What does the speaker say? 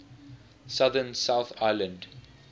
southern south island